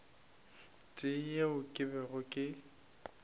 tee yeo ke bego ke